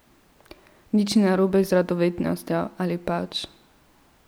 Nič ni narobe z radovednostjo, ali pač?